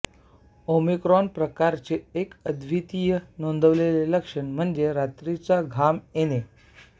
Omicron प्रकाराचे एक अद्वितीय नोंदवलेले लक्षण म्हणजे रात्रीचा घाम येणे